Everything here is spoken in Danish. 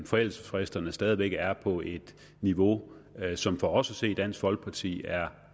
forældelsesfristerne stadig væk er på et niveau som for os at se i dansk folkeparti er